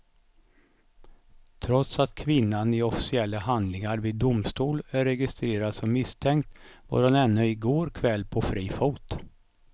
Trots att kvinnan i officiella handlingar vid domstol är registrerad som misstänkt var hon ännu i går kväll på fri fot.